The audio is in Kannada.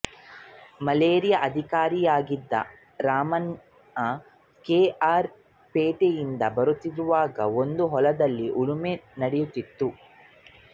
ಮಲೇರಿಯಾ ಅಧಿಕಾರಿಯಾಗಿದ್ದ ರಾಮಣ್ಣ ಕೆ ಆರ್ ಪೇಟೆಯಿಂದ ಬರುತ್ತಿರುವಾಗ ಒಂದು ಹೊಲದಲ್ಲಿ ಉಳುಮೆ ನಡೆಯುತ್ತಿತ್ತು